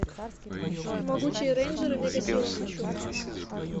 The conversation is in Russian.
могучие рейнджеры мегасила хочу